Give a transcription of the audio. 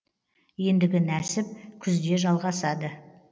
ендігі нәсіп күзде жалғасады